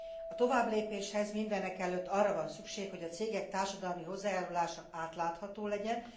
A továbblépéshez mindenekelőtt arra van szükség, hogy a cégek társadalmi hozzájárulása átlátható legyen.